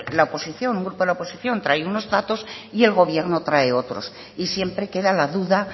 la oposición un grupo de la oposición trae unos datos y el gobierno trae otros y siempre queda la duda